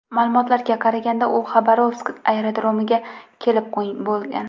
Ma’lumotga qaraganda, u Xabarovsk aerodromiga kelib bo‘lgan.